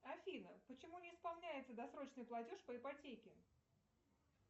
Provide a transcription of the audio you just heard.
афина почему не исполняется досрочный платеж по ипотеке